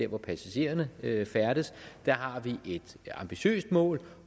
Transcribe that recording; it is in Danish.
hvor passagererne færdes har vi et ambitiøst mål